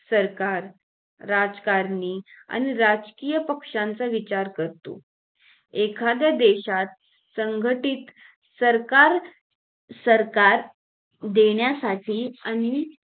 सरकार राजकारणी आणि राजकीय पक्षाचा विचार करतो एखाद्दा देशात संघटित सरकार सरकार देण्यासाठी आणि